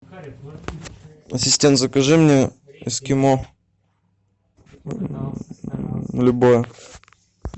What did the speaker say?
ассистент закажи мне эскимо любое